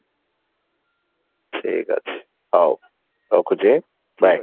ଠିକ ଅଛି ହଉ ରଖୁଛି bye